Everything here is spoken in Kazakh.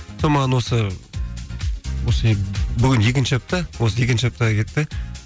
сол маған осы осы бүгін екінші апта осы екінші аптаға кетті